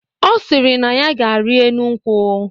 Ọ sịrị na ya ga-ari enu nkwụ.